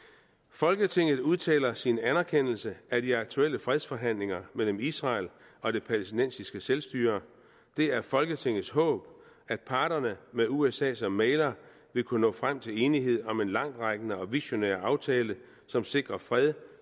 folketinget udtaler sin anerkendelse af de aktuelle fredsforhandlinger mellem israel og det palæstinensiske selvstyre det er folketingets håb at parterne med usa som mægler vil kunne nå frem til enighed om en langtrækkende og visionær aftale som sikrer fred